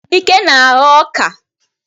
Ike na-aghọ oka.